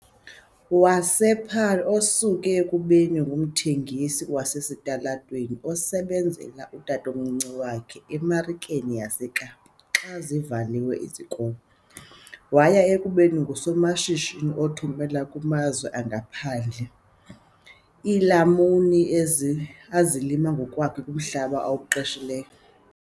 wasePaarl, osuke ekubeni ngumthengisi wasesitalatweni osebenzela utatomncinci wakhe eMarikeni yaseKapa xa kuvalwe izikolo waya ekubeni ngusomashishini othumela kumazwe angaphandle iilamuni ezi azilima ngokwakhe kumhlaba awuqeshileyo.